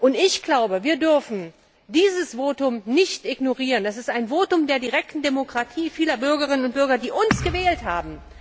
Und ich glaube, wir dürfen dieses Votum nicht ignorieren, das ist ein Votum der direkten Demokratie vieler Bürgerinnen und Bürger, die uns gewählt haben.